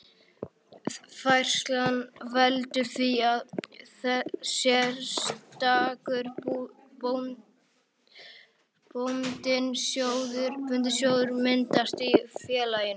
Færslan veldur því að sérstakur bundinn sjóður myndast í félaginu.